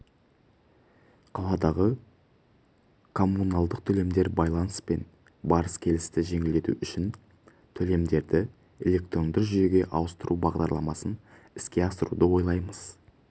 -қаладағы коммуналдық төлемдер байланыс пен барыс-келісті жеңілдету үшін төлемдерді электронды жүйеге ауыстыру бағдарламасын іске асыруды ойлаймыз